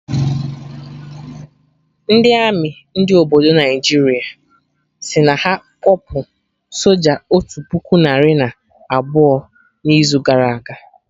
Ndị army ndị obodo Naijiria sịrị na ha kpọpụ soja otu puku narị na abụọ na izu gara aga